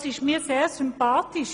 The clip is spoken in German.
Das ist mir sehr sympathisch.